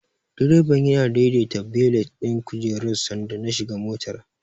Direban yana daidaita belet ɗin kujerar sanda na shiga motar.